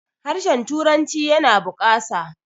harshen turanci yana bukasa